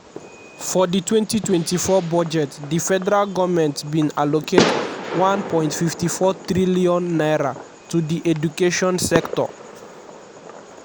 for di 2024 budget di federal goment bin allocate n1.54 trillion trillion to di education sector.